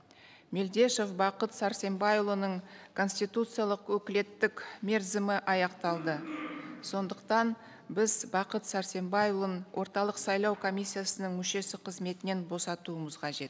мелдешов бақыт сәрсенбайұлының конституциялық өкілеттік мерзімі аяқталды сондықтан біз бақыт сәрсенбайұлын орталық сайлау комиссиясының мүшесі қызметінен босатуымыз қажет